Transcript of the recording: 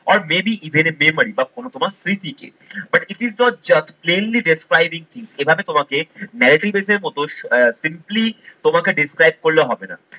are may be বা কোন তোমার স্মৃতিকে but it is not just plainly describing কি? এভাবে তোমাকে narrative base এর মত আহ simply তোমাকে describe করলে হবে না।